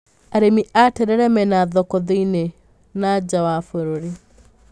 Arĩmi a terere mena thoko thĩiniĩ na nja wa bũrũri.